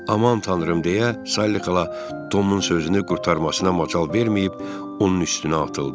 Aman tanrım deyə, Salli xala Tomun sözünü qurtarmasına macal verməyib, onun üstünə atıldı.